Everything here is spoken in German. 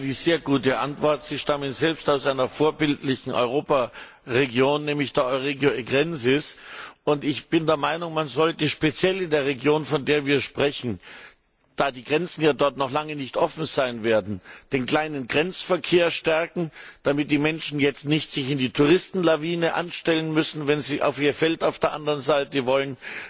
Vielen Dank für die sehr gute Antwort. Sie stammen selbst aus einer vorbildlichen Europaregion, nämlich der Euregio Egrensis, und ich bin der Meinung, man sollte speziell in der Region, von der wir sprechen, da die Grenzen dort ja noch lange nicht offen sein werden, den kleinen Grenzverkehr stärken, damit sich die Menschen jetzt nicht in die Touristenschlangen einreihen müssen, wenn sie auf ihr Feld auf der anderen Seite wollen.